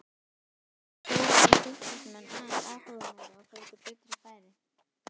Þó voru Fylkismenn aðeins áhugameiri og fengu betri færi.